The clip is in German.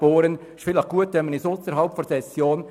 Noch etwas zu Andreas Burren